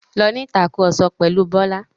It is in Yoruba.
Lọ ní ìtàkurọ̀sọ pẹ̀lu Bọ́lá.